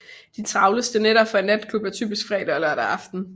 De travleste nætter for en natklub er typisk fredag og lørdag aften